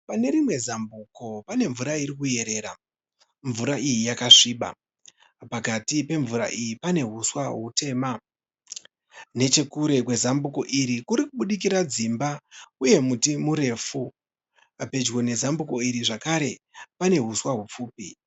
Pane rimwe zambuko pane mvura ikuyerera. Mvura iyi yakasviba . Pakati pemvura iyi pane uswa utema .Nechekure kwezambuko iri kurikubudikira dzimba uye muti murefu .Pedyo nezambuko iri zvakare pane uswa hupfupi.